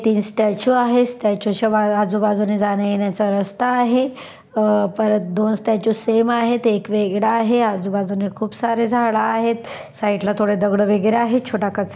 तीन स्टँच्यु आहे स्टँच्युच्या आजुबाजूने जाण्यायेण्याचा रस्ता आहे अह परत दोन स्टँच्यु सेम आहेत एक वेगळा आहे आजूबाजूनी खूप सारे झाडं आहेत साइडला थोडे दगडं वैगेरे आहे. छोटा कचरा --